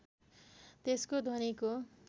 त्यसको ध्वनिको